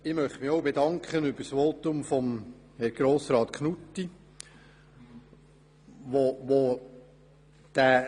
Ich möchte mich auch für das Votum von Grossrat Knutti bedanken.